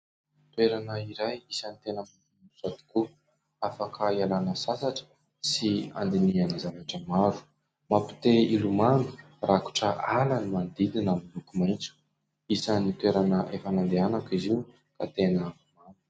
Toerana iray isany tena lafatra tokoa, afaka ialana sasatra sy andinihana zavatra maro. Mampi- te hilomano, rakotra ala, ny manodidina milokomaintso. Isan'ny toerana efa nandehanako izy io.